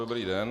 Dobrý den.